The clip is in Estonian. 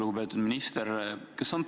Lugupeetud minister!